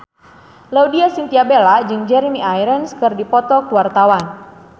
Laudya Chintya Bella jeung Jeremy Irons keur dipoto ku wartawan